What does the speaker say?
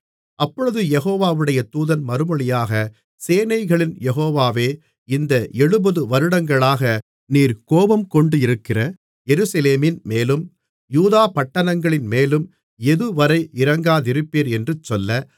அப்பொழுது யெகோவாவுடைய தூதன் மறுமொழியாக சேனைகளின் யெகோவாவே இந்த எழுபது வருடங்களாக நீர் கோபங்கொண்டிருக்கிற எருசலேமின்மேலும் யூதா பட்டணங்களின்மேலும் எதுவரை இரங்காதிருப்பீர் என்று சொல்ல